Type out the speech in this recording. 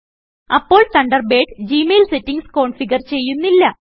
അപ്പോൾ Thunderbird Gmail settings configure ചെയ്യുന്നില്ല